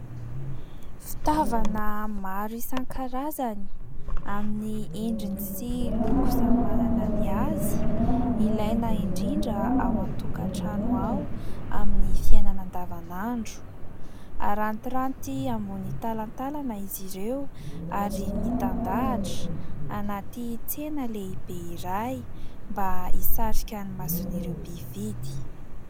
Fitaovana maro isan-karazany, amin'ny endriny sy loko samy manana ny azy ilaina indrindra ao an-tokatrano ao amin'ny fiainana andavanandro. Harantiranty ambony talantalana izy ireo ary mitandahatra anaty tsena lehibe iray mba hisarika ny mason'ireo mpividy.